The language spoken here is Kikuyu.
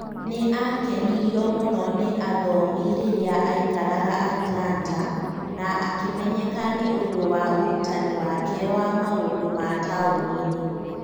Nĩ aakenirio mũno nĩ athomi rĩrĩa aaikaraga Atlanta, na akĩmenyeka nĩ ũndũ wa ũrutani wake wa maũndũ ma taũni-inĩ.